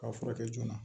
K'a furakɛ joona